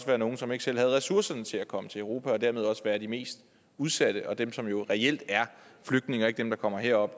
være nogle som ikke selv havde ressourcerne til at komme til europa og dermed også være de mest udsatte og dem som jo reelt er flygtninge og ikke dem der kommer herop